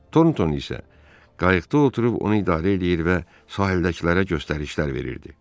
Tornton isə qayıqda oturub onu idarə eləyir və sahildəkilərə göstərişlər verirdi.